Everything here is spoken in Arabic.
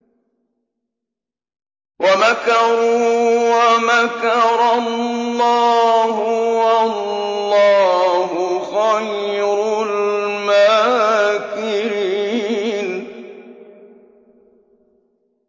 وَمَكَرُوا وَمَكَرَ اللَّهُ ۖ وَاللَّهُ خَيْرُ الْمَاكِرِينَ